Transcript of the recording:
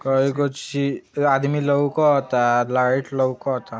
कई गो चीज आदमी लउकता लाईट लउकता।